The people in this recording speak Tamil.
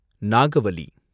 நாகவலி